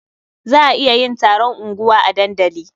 Za a iya yin taron unguwa a dandali.